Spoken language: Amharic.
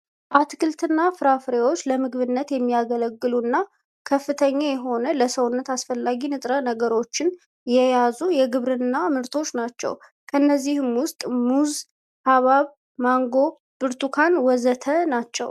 አትክልት እና ፍራፍሬዎች ለምግብነት የሚያገለግሉ እና ከፍተኛ የሆነ ለሰውነት አስፈላጊ ንጥረ ነገሮችን የያዙ የግብርና ምርቶች ናቸው። ከእነዚህም ውስጥ ሙዝ፣ ሀባብ፣ ማንጎ፣ ብርቱካን ወዘተ ናቸው።